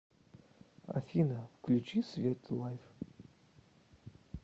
афина включи свит лайф